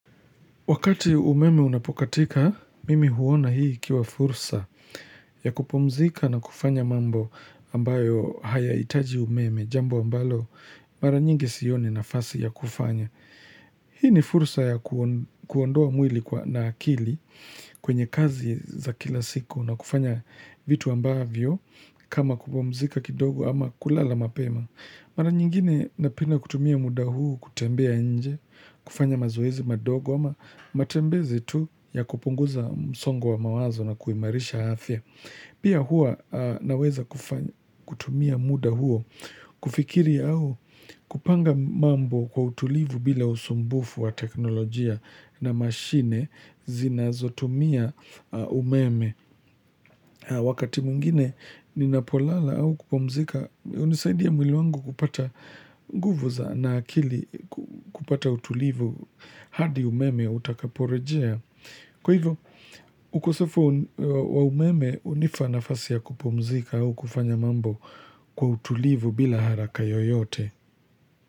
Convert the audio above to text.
Wakati umeme unapokatika, mimi huona hii ikiwa fursa ya kupumzika na kufanya mambo ambayo hayahitaji umeme, jambo ambalo mara nyingi sioni nafasi ya kufanya. Hii ni fursa ya kuondoa mwili na akili kwenye kazi za kila siku na kufanya vitu ambavyo kama kupumzika kidogo ama kulala mapema. Mara nyingine napenda kutumia muda huu kutembea nje, kufanya mazoezi madogo ama matembezi tu ya kupunguza msongo wa mawazo na kuimarisha afya. Pia hua naweza kutumia muda huo kufikiri au kupanga mambo kwa utulivu bila usumbufu wa teknolojia na mashine zinazotumia umeme. Wakati mwingine ninapolala au kupumzika hunisaidi ya mwili wangu kupata nguvu za na akili kupata utulivu hadi umeme utakaporejea. Kwa hivyo ukosefu wa umeme hunipa nafasi ya kupumzika au kufanya mambo kwa utulivu bila haraka yoyote.